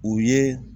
U ye